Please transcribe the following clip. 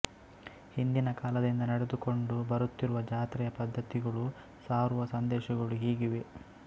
ಹಿಂದಿನ ಕಾಲದಿಂದ ನಡೆದುಕೊಂಡು ಬರುತ್ತಿರುವ ಜಾತ್ರೆಯ ಪದ್ಧತಿಗಳು ಸಾರುವ ಸಂದೇಶಗಳು ಹೀಗಿವೆ